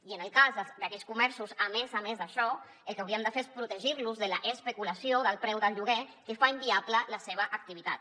i en el cas d’aquells comerços a més a més d’això el que hauríem de fer és protegir los de l’especulació del preu del lloguer que fa inviable la seva activitat